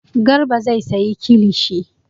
Garba zai sayi kilishi.